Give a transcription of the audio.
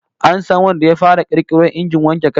An san wanda ya fara kirkiro injin wanke kai?